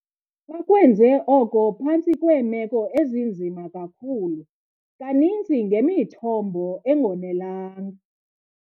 Bakwenze oko phantsi kweemeko ezinzima kakhulu, kaninzi ngemithombo engonelanga.